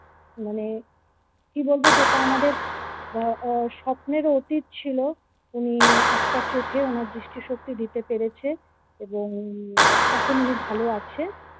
মানে কি বলব যেটা আমাদের আহ স্বপ্নেরও অতীত ছিল উনি একটা চোখে ওনার দৃষ্টি শক্তি দিতে পেরেছে এখন উনি ভালো আছে।